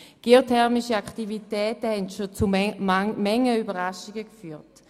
Geothermische Aktivitäten haben schon zu manchen Überraschungen geführt.